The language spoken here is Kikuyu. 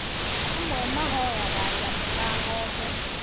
Amwe mahoyaga nyamũ ta ng'ombe